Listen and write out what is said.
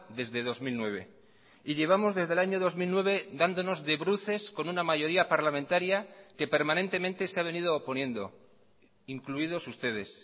desde dos mil nueve y llevamos desde el año dos mil nueve dándonos de bruces con una mayoría parlamentaria que permanentemente se ha venido oponiendo incluidos ustedes